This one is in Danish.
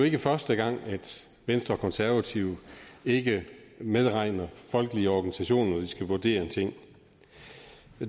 ikke første gang at venstre og konservative ikke medregner folkelige organisationer når de skal vurdere en ting